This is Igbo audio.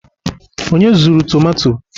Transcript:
onye zuru tomato?